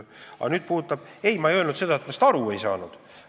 Aga ma ei öelnud seda, et ma Danske raportist aru ei saanud.